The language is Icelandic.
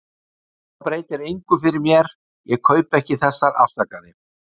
Þetta breytir engu fyrir mér- og ég kaupi ekki þessar afsakanir.